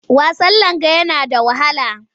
Wasan langa yana da wahala.